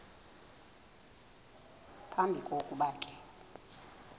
phambi kokuba ke